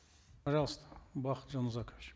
пожалуйста бакыт жанузакович